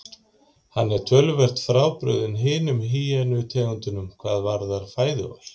Hann er töluvert frábrugðinn hinum hýenu tegundunum hvað varðar fæðuval.